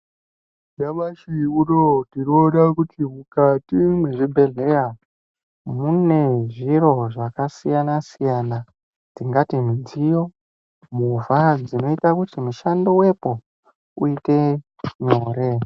Nyamashi unowu tinoona kuti mukati mwezvibhedhleya, mune zviro zvakasiyana-siyana, tingati midziyo ,movha dzinoyita kuti mushando wepo, uyite nyore.